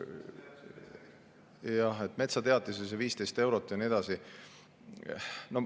Metsateatise 15 eurot ja nii edasi.